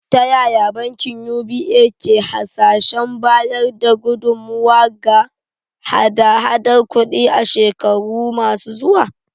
Ta yaya bankin UBA ke hasashen bayar da gudummawa ga hada-hadar kudi a shekaru masu zuwa?